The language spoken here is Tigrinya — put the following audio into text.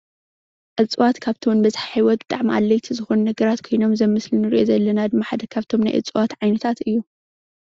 እፅዋት ካብቶም በዝሒ ህይወት ብጣዕሚ ኣድለይቲ ዝኮኑ ነገራት ኮይኖም እዚ ኣብ ምስሊ እንሪኦ ዘለና ድም ሓደ ካብቶም ናይ እፅዋታት ዓይነት ሓደ እዩ፡፡